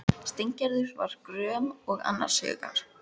Steingerður var gröm og annars hugar.